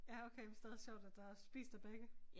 Ja okay hvis det været sjovt at der er spist af begge